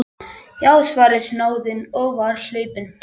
Já, svaraði snáðinn og var hlaupinn.